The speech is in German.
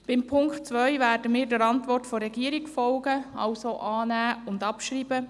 Beim Punkt 2 werden wir der Antwort der Regierung folgen, das heisst annehmen und abschreiben.